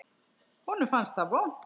Honum fannst það vont.